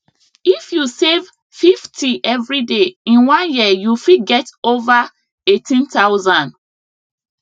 if you save 50 everyday in one year you fit get over 18000